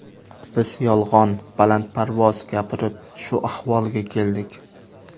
Biz yolg‘on, balandparvoz gapirib shu ahvolga keldik.